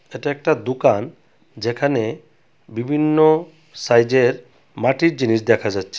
এটা একটা দুকান যেখানে বিভিন্ন সাইজের মাটির জিনিস দেখা যাচ্ছে।